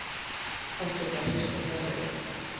Forsetinn hristir höfuðið.